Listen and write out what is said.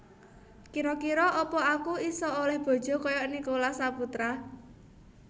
Kiro kiro apa aku iso oleh bojo koyok Nicholas Saputra